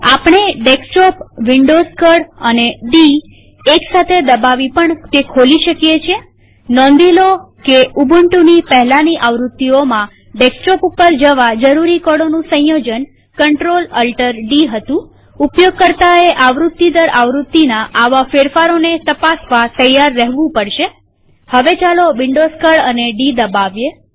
આપણે ડેસ્કટોપવિન્ડોવ્ઝ કળ અને ડી એક સાથે દબાવી પણ ખોલી શકીએ છીએનોંધીલો કે ઉબુન્ટુની પહેલાની આવૃત્તિઓમાં ડેસ્કટોપ પર જવા જરૂરી કળોનું સંયોજન CltAltD હતુંઉપયોગકર્તાએ આવૃત્તિ દર આવૃત્તિના આવા ફેરફારોને તપાસવા તૈયાર રેહવું પડશેહવે ચાલો વિન્ડોવ્ઝ કળ અને ડી દબાવીએ